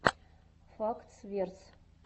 фактс верс